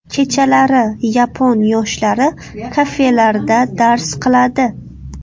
Kechalari yapon yoshlari kafelarda dars qiladi.